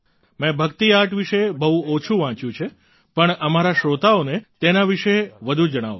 મેં ભક્તિ આર્ટ વિશે બહુ ઓછું વાંચ્યું છે પણ અમારા શ્રોતાઓને તેના વિશે વધુ જણાવો